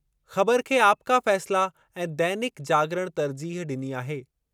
ख़बरु खे आपका फ़ैसला ऐं दैनिक जागरण तर्जीह डि॒नी आहे।